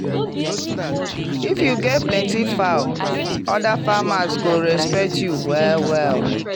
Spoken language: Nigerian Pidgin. if you get plenty fowl other farmers go respect you well-well.